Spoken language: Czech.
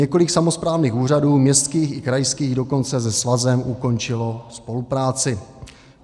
Několik samosprávných úřadů, městských i krajských, dokonce se svazem ukončilo spolupráci.